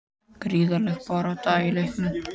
Gríðarleg barátta í leiknum